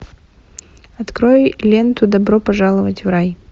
открой ленту добро пожаловать в рай